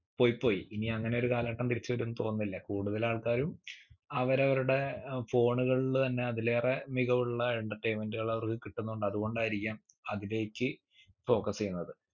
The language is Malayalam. പോയ് പോയ് ഇനി അങ്ങനെ ഒരു കാലഘട്ടം തിരിച്ചു വരുമെന്ന് തോന്നുന്നില്ല കൂടുതൽ ആൾക്കാരും അവരവരുടെ ഏർ phone കളിൽ തന്നെ അതിലേറെ മികവുള്ള entertainment കൾ അവർക്ക് കിട്ടുന്നുണ്ട് അതുകൊണ്ടായിരിക്കാം അതിലേക്ക് focus ചെയ്യുന്നത്